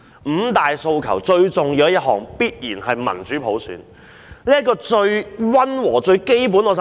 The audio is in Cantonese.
五大訴求最重要的一項，必然是民主普選。這是最溫和、最基本的。